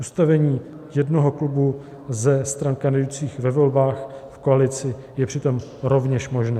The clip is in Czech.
Ustavení jednoho klubu ze stran kandidujících ve volbách v koalici je přitom rovněž možné.